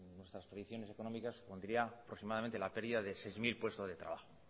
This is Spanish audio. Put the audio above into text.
nuestras predicciones económicas supondría aproximadamente la pérdida de seis mil puestos de trabajo